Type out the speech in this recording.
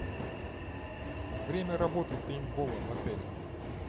время работы пейнтбола в отеле